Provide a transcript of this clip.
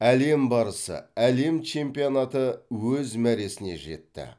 әлем барысы әлем чемпионаты өз мәресіне жетті